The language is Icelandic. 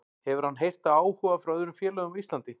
Hefur hann heyrt af áhuga frá öðrum félögum á Íslandi?